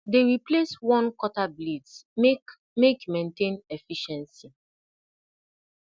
dey replace worn cutter blades make make maintain efficiency